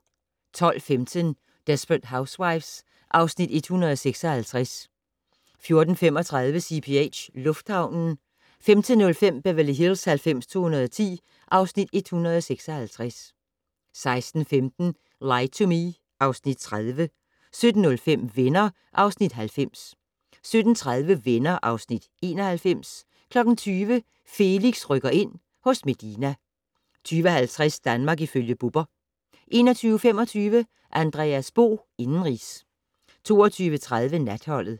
12:15: Desperate Housewives (Afs. 156) 14:35: CPH - lufthavnen 15:05: Beverly Hills 90210 (Afs. 156) 16:15: Lie to Me (Afs. 30) 17:05: Venner (Afs. 90) 17:30: Venner (Afs. 91) 20:00: Felix rykker ind - hos Medina 20:50: Danmark ifølge Bubber 21:25: Andreas Bo - indenrigs 22:30: Natholdet